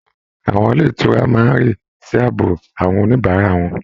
Àwọn ilé ìtura máa ń rí sí ààbò àwọn oníbàárà wọn